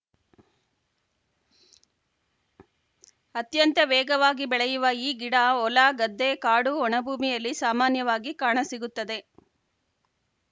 ಅತ್ಯಂತ ವೇಗವಾಗಿ ಬೆಳೆಯುವ ಈ ಗಿಡ ಹೊಲ ಗದ್ದೆ ಕಾಡು ಒಣಭೂಮಿಯಲ್ಲಿ ಸಾಮಾನ್ಯವಾಗಿ ಕಾಣಸಿಗುತ್ತದೆ